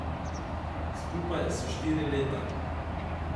Skupaj so štiri leta.